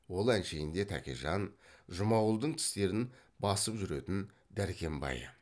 ол әншейінде тәкежан жұмағұлдың тістерін басып жүретін дәркембайы